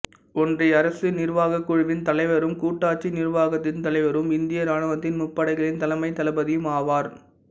ஒன்றிய அரசு நிர்வாகக் குழுவின் தலைவரும் கூட்டாட்சி நிர்வாகத்தின் தலைவரும் இந்திய இராணுவத்தின் முப்படைகளின் தலைமைத் தளபதியும் ஆவார்